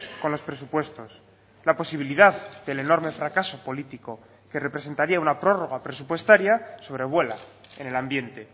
con los presupuestos la posibilidad del enorme fracaso político que representaría una prórroga presupuestaria sobre vuela en el ambiente